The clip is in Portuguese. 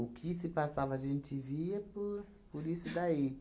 que se passava, a gente via por por isso daí.